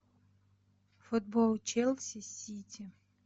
футбол челси с сити